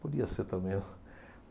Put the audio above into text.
Podia ser também.